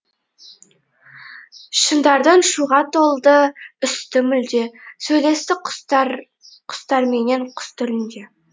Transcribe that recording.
шыңдардың шуға толды үсті мүлде сөйлесті құстарменен құс тілінде